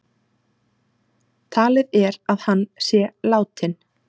Talið er að hann sé látinn